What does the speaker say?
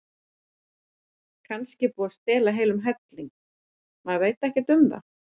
Kannski er búið að stela heilum helling, maður veit ekkert um það.